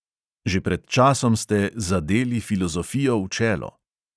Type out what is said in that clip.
Že pred časom ste "zadeli filozofijo v čelo".